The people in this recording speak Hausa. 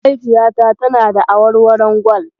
Mahaifiyata tana da awarwaron Gwal.